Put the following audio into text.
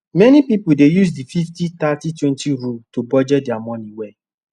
many people dey use the 503020 rule to budget their money well